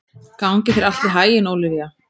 Gangi þér allt í haginn, Ólivía.